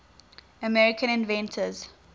american inventions